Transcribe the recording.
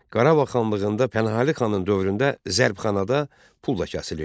Qarabağ xanlığında Pənahəli xanın dövründə zərbxanada pul da kəsilirdi.